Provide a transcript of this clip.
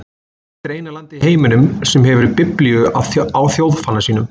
Hvert er eina landið í heiminum sem hefur biblíu á þjóðfána sínum?